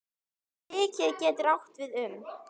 Víkin getur átt við um